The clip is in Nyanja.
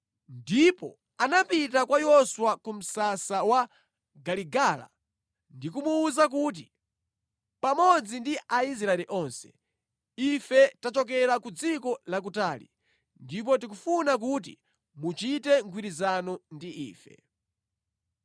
Ndipo anapita kwa Yoswa ku msasa ku Giligala ndikumuwuza kuti, pamodzi ndi Aisraeli onse, “Ife tachokera ku dziko lakutali, ndipo tikufuna kuti muchite mgwirizano ndi ife.”